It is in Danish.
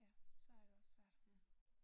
Ja. Så er det også svært